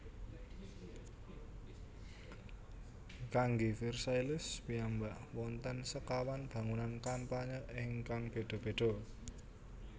Kanggé Versailles piyambak wonten sekawan bangunan kampanye ingkang béda béda